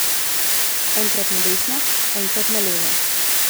Enkrat na desno, enkrat na levo.